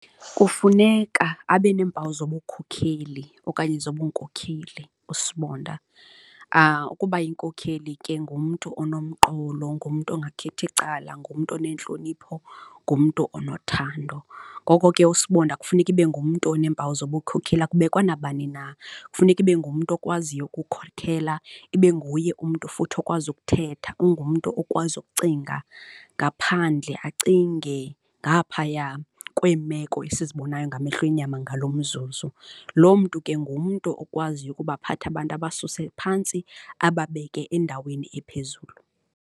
Kufuneka abe neempawu zobukhokheli okanye zobunkokheli usibonda. Ukuba yinkokheli ke ngumntu onomqolo, ngumntu ongakhethi icala, ngumntu onentlonipho, ngumntu onothando. Ngoko ke usibonda kufuneka ibe ngumntu oneempawu zobukhokheli. Akubekwa nabani na, kufuneka ibe ngumntu okwaziyo ukukhokhela, ibe nguye umntu futhi okwazi ukuthetha, ungumntu okwazi ukucinga ngaphandle, acinge ngaphaya kweemeko esizibonayo ngamehlo enyama ngaloo umzuzu. Loo mntu ke ngumntu okwaziyo ukubathatha abantu abasuse phantsi, ababeke endaweni ephezulu.